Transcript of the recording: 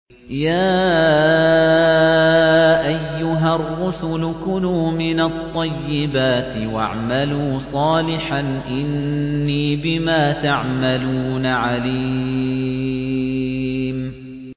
يَا أَيُّهَا الرُّسُلُ كُلُوا مِنَ الطَّيِّبَاتِ وَاعْمَلُوا صَالِحًا ۖ إِنِّي بِمَا تَعْمَلُونَ عَلِيمٌ